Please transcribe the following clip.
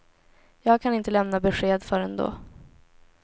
Jag kan inte lämna besked förrän då.